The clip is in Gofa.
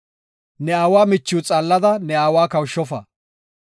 “Ne aawa machiw xaallada ne aawa kawushofa.